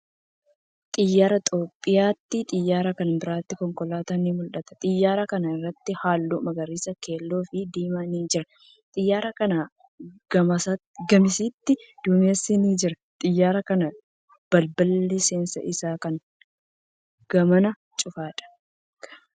Xiyyaara Itiyoophiyyaati. Xiyyaara kana biratti konkolaatan ni mul'atu. Xiyyaara kana irratti haalluu magariisa, keelloo fii diiman ni jira. Xiyyaara kanaa gamasitti duumessi ni jira. Xiyyaara kana balballi seensa isaa kan gamanaa cufaadha.